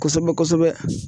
Kosɛbɛ kosɛbɛ.